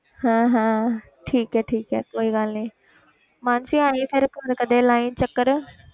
ਹਾਂ ਹਾਂ ਠੀਕ ਹੈ ਠੀਕ ਹੈ ਕੋਈ ਗੱਲ ਨੀ ਮਾਨਸੀ ਆਈ ਫਿਰ ਘਰ ਕਦੇ ਲਾਈਂ ਚੱਕਰ।